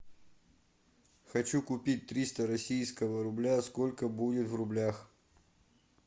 хочу купить триста российского рубля сколько будет в рублях